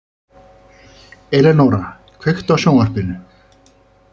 Elenóra, kveiktu á sjónvarpinu.